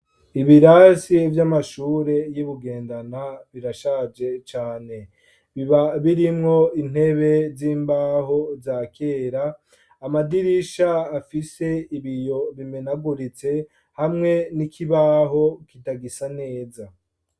Ibirasi by'amashure y'ibugendana birashaje cane biba birimwo intebe z'imbaho za kera amadirisha afise ibiyo biminaguritse hamwe n'ikibaho kitagisa neza.